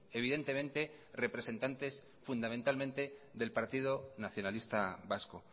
evidentemente representantes fundamentalmente del partido nacionalista vasco